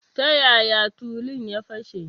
Ta yaya tulun ya fashe?